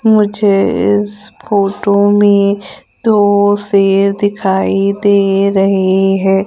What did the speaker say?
मुझे इस फोटो में दो शेर दिखाई दे रहे हैं।